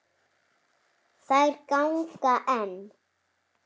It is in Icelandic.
Þær ganga enn.